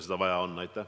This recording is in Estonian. Seda on vaja.